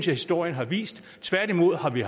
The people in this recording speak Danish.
historien har vist tværtimod har vi